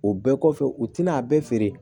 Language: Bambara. O bɛɛ kɔfɛ u tɛna a bɛɛ feere